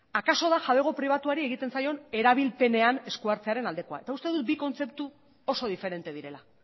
akaso da jabego pribatuari egiten zaion erabilpenean esku hartzearen aldekoa eta uste dut bi kontzeptu oso diferente direla